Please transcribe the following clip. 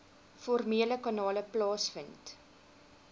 formele kanale plaasvind